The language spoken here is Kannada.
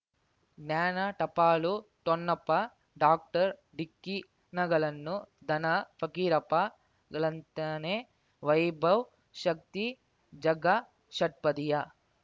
ಜ್ಞಾನ ಟಪಾಲು ಠೊಣ್ಣಪ್ಪ ಡಾಕ್ಟರ್ ಢಿಕ್ಕಿ ಣಗಳನು ಧನ ಫಕೀರಪ್ಪ ಳಂತಾನೆ ವೈಭವ್ ಶಕ್ತಿ ಝಗಾ ಷಟ್ಪದಿಯ